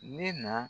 Ne na